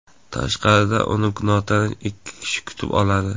Tashqarida uni notanish ikki kishi kutib oladi.